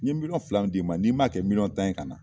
N ɲe fila min di ma n'i m'a kɛ tan ye ka na